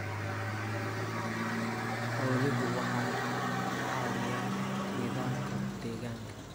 Xooluhu waxay caawiyaan nidaamka deegaanka.